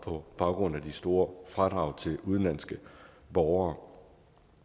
på baggrund af de store fradrag til udenlandske borgere